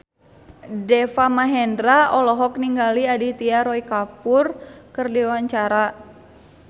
Deva Mahendra olohok ningali Aditya Roy Kapoor keur diwawancara